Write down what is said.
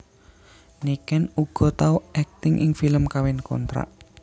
Niken uga tau akting ing film Kawin Kontrak